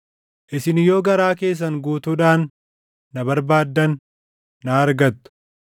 Isin yoo garaa keessan guutuudhaan na barbaaddan, na argattu.